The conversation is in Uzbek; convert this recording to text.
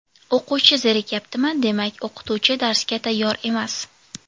O‘quvchi zerikyaptimi, demak o‘qituvchi darsga tayyor emas!